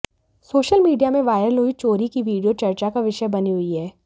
social media में viral हुई चोरी की वीडियो चर्चा का विषय बनी हुई है